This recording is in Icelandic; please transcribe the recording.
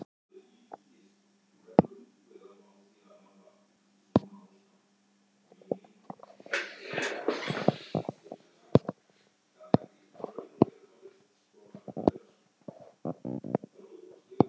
Þórhildur Þorkelsdóttir: En þetta er ekki í fyrsta skipti sem þetta kemur fyrir barnið þitt?